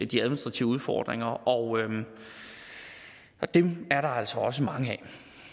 de administrative udfordringer og dem er der altså også mange af